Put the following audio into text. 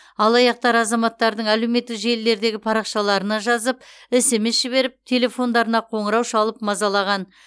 алаяқтар азаматтардың әлеуметтік желілердегі парақшаларына жазып смс жіберіп телефондарына қоңырау шалып мазалаған